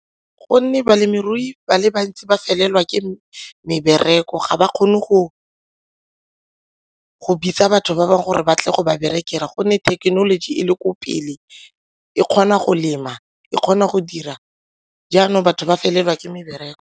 Gonne balemirui ba le bantsi ba felelwa ke mebereko, ga ba kgone go bitsa batho ba bangwe gore ba tle go ba berekela gonne thekenoloji e le ko pele e kgona go lema e kgona go dira jaanong batho ba felelwa ke mebereko.